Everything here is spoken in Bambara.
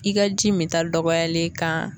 I ka ji min ta dɔgɔyalen kan